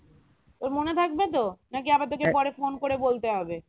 তোর মনে থাকবে তো না কি আবার তোকে পরে phone করে বলতে হবে